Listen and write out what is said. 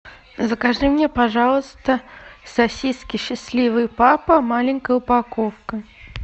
закажи мне пожалуйста сосиски счастливый папа маленькая упаковка